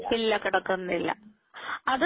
ഇല്ല കടക്കുന്നില്ല അത്